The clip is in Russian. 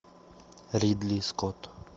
ридли скотт